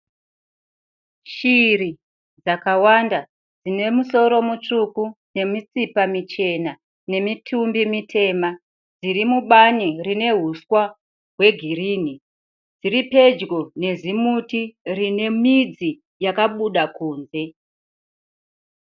Shiri dzakawanda dzine musoro mutsvuku, nemitsipa michena, nemitumbi mitema, dziri mubani rine huswa hwegirini. Dziri pedyo nezimuti rine midzi yakabuda kunze.